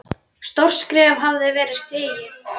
Stórt skref hafði verið stigið.